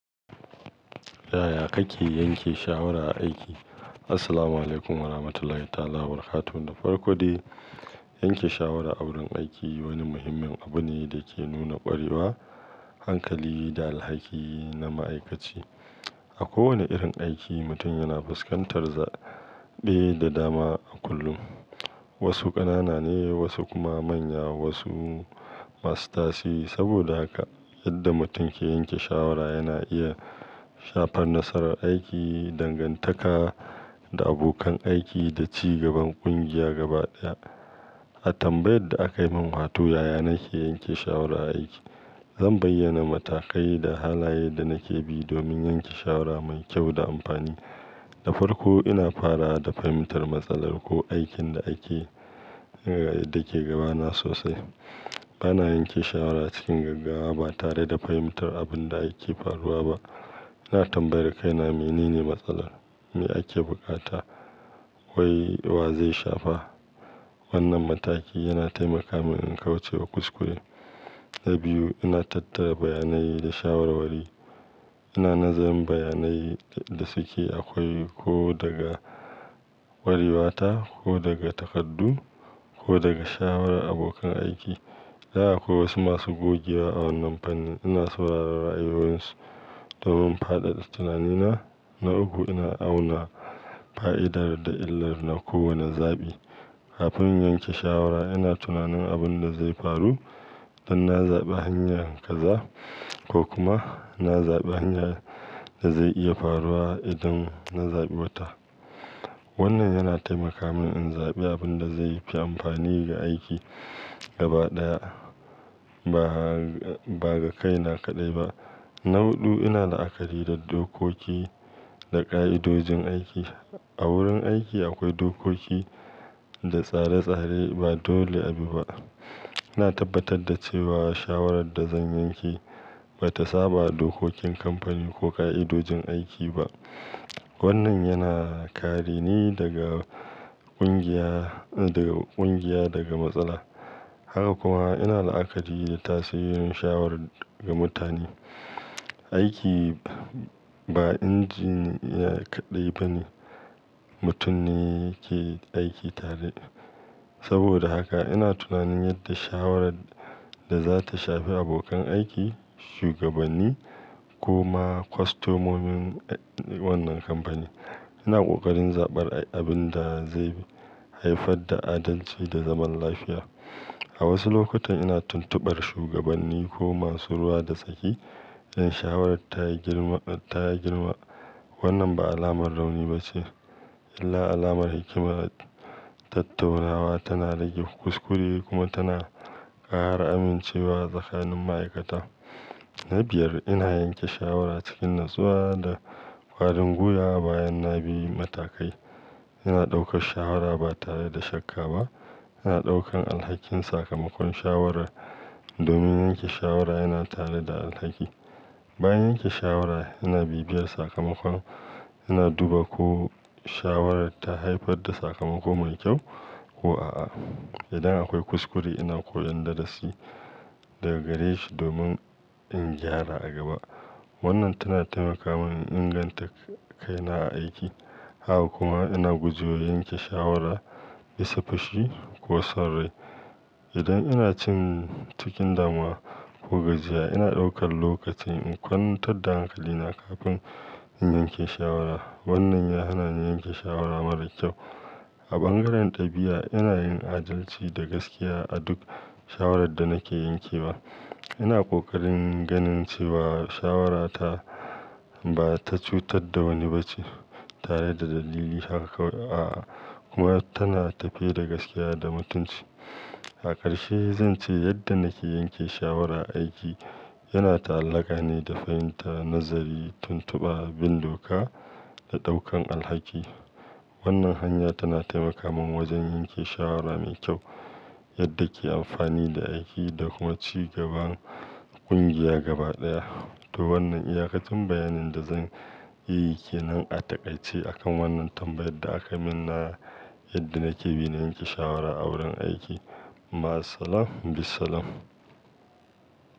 Yaya kake yanke shawara a aiki? Assalamualaikum warahmatullahi ta'ala wabarakatuh. Da farko dai, yanke shawara a wurin aiki wani muhimmin abu ne da ke nuna ƙwarewa, hankali da alhaki na ma'aikaci. A kowane irin aiki, mutum yana fuskantar zaɓe da dama a kullum. Wasu ƙanana ne, wasu kuma manya, wasu masu tashe. Saboda haka yadda mutum ke yanke shawara yana iya shafar nasarar aiki, dangantaka da abokan aiki da ci gaban ƙungiya gaba ɗaya. A tambayar da aka min, wato, yaya nake yanke shawara a aiki? Zan bayyana matakai da halaye da nake bi domin yanke shawara mai kyau da amfani. Da farko, ina fara da fahimtar matsalar ko aikin da ake, da ke gabana sosai. Bana yanke shawara cikin gaggawa ba tare da fahimtar abin da ake faruwa ba. Ina tambayar kaina menene matsalar, me ake bukata, wai wa zai shafa. Wannan mataki yana taimaka min in kauce wa kuskure. Na biyu, ina tattara bayanai da shawarwari. Ina nazarin bayanai da suke akwai ko daga kware wata, ko daga takardu, ko daga shawarar abokan aiki. Idan akwai wasu masu gogewa a wannan fannin. Ina sauraron ra'ayoyinsu domin fadada tunanina. Na uku, ina auna fa'idar da illar na kowane zaɓi. Kafin in yanke shawara, ina tunanin abin da zai faru idan na zaɓi hanyar kaza ko kuma na zaɓi hanyar da zai iya faruwa idan na zaɓi wata. Wannan yana taimaka min in zaɓi abin da zai fi amfani ga aiki gaba ɗaya ba ga kaina kaɗai ba. Na huɗu, ina la'akari da dokoki da ƙa'idojin aiki. A wurin aiki akwai dokoki da tsare-tsare ba dole abi ba. Ina tabbatar da cewa shawarar da zan yanke ba ta saba dokokin kamfani ko ƙa'idojin aiki ba. Wannan yana kare ni daga ƙungiya, daga ƙungiya daga matsala. Haka kuma ina la'akari da tasirin shawara ga mutane. Aiki ba injiniya kaɗai ba ne, mutum ne yake aiki tare. Saboda haka ina tunanin yadda shawarar da za ta shafi abokan aiki, shugabanni kuma kwastomomin wannan kamfani. Ina ƙoƙarin zaɓar abin da zai haifar da adalci da zaman lafiya. A wasu lokutan ina tuntubar shugabanni ko masu ruwa da tsaki don shawarar ta yi girma, ta yi girma. Wannan ba alamar rauni ba ce illa alamar hikima. Tattaunawa tana rage kuskure kuma tana ƙara amincewa tsakanin ma'aikata. Na biyar, ina yanke shawara cikin natsuwa da kwarin gwiya bayan na bi matakai. Ina ɗaukar shawara ba tare da shakka ba. Ina ɗaukan alhakin sakamakon shawara domin yanke shawara yana tare da alhaki. Bayan yanke shawara, ina bibiyar sakamakon. Ina duba ko shawarar ta haifar da sakamako mai kyau ko a'a. Idan akwai kuskure ina koyan darasi daga gare shi domin in gyara a gaba. Wannan tana taimaka min in inganta kaina a aiki. Haka kuma ina gujewa yanke shawara bisa fushi ko son rai. Idan ina cin cikin damuwa ko gajiya ina ɗaukan lokaci in kwantar da hankalina kafin in yanke shawara. Wannan ya hana ni yanke shawara mara kyau. A bangaren ɗabi'a ina yin adalci da gaskiya a duk shawarar da nake yanke wa. Ina ƙoƙarin ganin cewa shawara ta ba ta cutar da wani ba ce tare da dalili. Haka kawai aa kuma tana tafe da gaskiya da mutunci. A ƙarshe zan ce yadda nake yanke shawara a aiki yana ta'allaka ne da fahimtar nazari, tuntuba, bin doka da ɗaukan alhaki. Wannan hanya tana taimaka min wajen yanke shawara mai kyau yadda ke amfani da aiki da kuma ci gaban ƙungiya gaba ɗaya. To wannan iyaƙacin bayanin da zan yi ke nan a taƙaice akan wannan tambayar da aka min na yadda nake bi na yanke shawara a wurin aiki. Maassalam, bissalam.